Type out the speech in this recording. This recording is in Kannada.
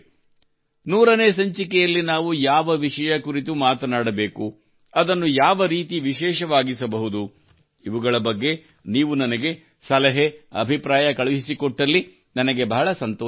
100 ನೇ ಸಂಚಿಕೆಯಲ್ಲಿ ನಾವು ಯಾವ ವಿಷಯ ಕುರಿತು ಮಾತನಾಡಬೇಕು ಅದನ್ನು ಯಾವರೀತಿ ವಿಶೇಷವಾಗಿಸಬಹುದು ಇವುಗಳ ಬಗ್ಗೆ ನೀವು ನನಗೆ ಸಲಹೆ ಅಭಿಪ್ರಾಯ ಕಳುಹಿಸಿಕೊಟ್ಟಲ್ಲಿ ನನಗೆ ಬಹಳ ಸಂತೋಷವಾಗುತ್ತದೆ